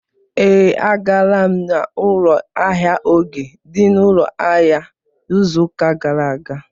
Ee, agara m n'ụlọ ahịa Oge dị n'ụlọ ahịa izu ụka gara aga.